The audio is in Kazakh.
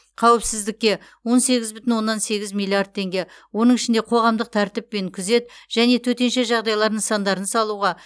қауіпсіздікке он сегіз бүтін оннан сегіз миллиард теңге оның ішінде қоғамдық тәртіп пен күзет және төтенше жағдайлар нысандарын салуға